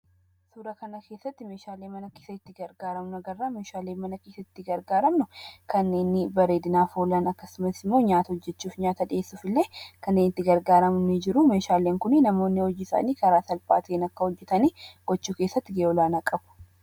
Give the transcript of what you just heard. Suuraa kanarratti meeshaalee mana keessatti itti gargaaramnu argina. Meeshaalee mana keessatti itti gargaaramnu kanneen bareedinaaf oolan akkasumas immoo nyaata hijjechuufi nyaata dhiyeessuuf illee kan itti gargaaramnu ni jiru. Meeshaaleen kun namoonni hojii isaanii karaa salphaa ta'e hojjechuu keessatti gahee olaanaa qabu.